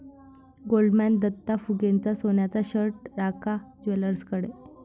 Goldman Datta फुगेचा सोन्याचा shirt Ranka ज्वेलर्सकडे!